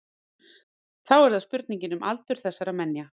þá er það spurningin um aldur þessara menja